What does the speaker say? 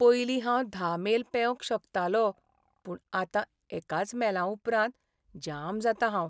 पयलीं हांव धा मेल पेंवंक शकतालों पूण आतां एकाच मेलां उपरांत जाम जातां हांव .